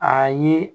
A ye